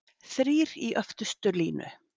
Þrír í öftustu línu?